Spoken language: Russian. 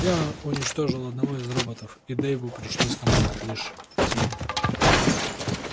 я уничтожил одного из роботов и дейву пришлось командовать лишь пятью